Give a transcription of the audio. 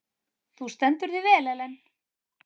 Þú stendur þig vel, Ellen!